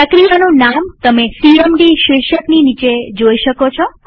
પ્રક્રિયાનું નામ તમે સીએમડી શીર્ષકની નીચે જોઈ શકો છો